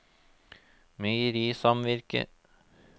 meierisamvirket